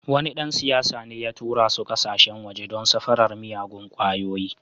Wani dan siyasa ne ya tura su kasashen waje don safarar miyagun kwayoyi.